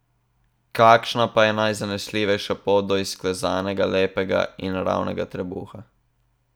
Kakšna pa je najzanesljivejša pot do izklesanega, lepega in ravnega trebuha?